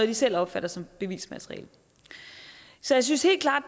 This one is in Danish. de selv opfatter som bevismateriale så jeg synes helt klart